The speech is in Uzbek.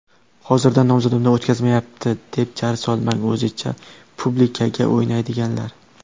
Hozirdan nomzodimni o‘tkazishmayapti, deb jar solmang o‘zicha ‘publikaga’ o‘ynaydiganlar.